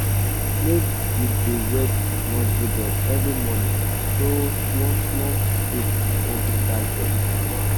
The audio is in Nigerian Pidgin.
make you dey wet nursery bed every morning so small small shoots no go die for heat hand.